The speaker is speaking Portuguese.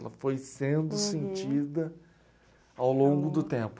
Ela foi sendo sentida ao longo do tempo.